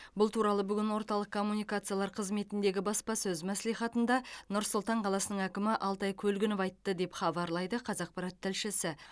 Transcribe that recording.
бұл туралы бүгін орталық коммуникациялар қызметіндегі баспасөз мәслихатында нұр сұлтан қаласының әкімі алтай көлгінов айтты деп хабарлайды қазақпарат тілшісі